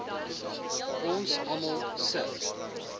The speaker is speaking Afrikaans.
ons almal se